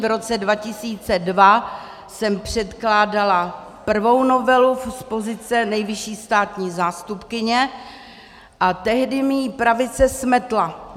V roce 2002 jsem předkládala prvou novelu z pozice nejvyšší státní zástupkyně a tehdy mi ji pravice smetla.